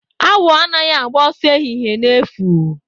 Awọ anaghị agba ọsọ ehihie na efu.